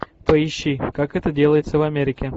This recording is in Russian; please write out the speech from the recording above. поищи как это делается в америке